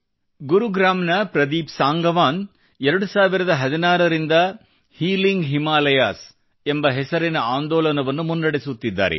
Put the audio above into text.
ಗುರುಗ್ರಾಮ್ ನ ಪ್ರದೀಪ್ ಸಂಗವಾನ್ 2016 ರಲ್ಲಿ ಹೀಲಿಂಗ್ ಹಿಮಾಲಯಸ್ ಎಂಬ ಹೆಸರಿನ ಆಂದೋಲನವನ್ನು ಮುನ್ನಡೆಸುತ್ತಿದ್ದಾರೆ